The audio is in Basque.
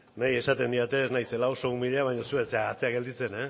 niri esaten didate ez naizela oso umila baina zu ez zara atzean gelditzen